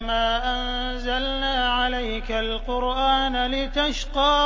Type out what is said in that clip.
مَا أَنزَلْنَا عَلَيْكَ الْقُرْآنَ لِتَشْقَىٰ